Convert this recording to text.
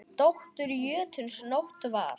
Dóttir jötuns Nótt var.